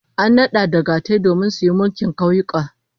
An nada dagatai domin su mulki kauyuka